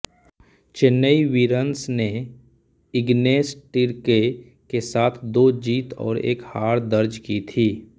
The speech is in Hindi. चेन्नई वीरन्स ने इग्नेस टिर्केय के साथ दो जीत और एक हार दर्ज की थी